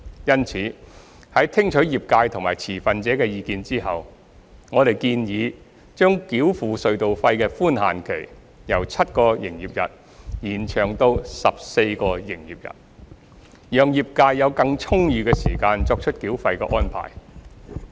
因此，在聽取業界及持份者的意見後，我們建議將繳付隧道費的寬限期，由7個營業日延長至14個營業日，讓業界有更充裕的時間作出繳費安排。